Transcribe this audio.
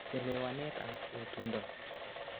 Chelewanet ap etundo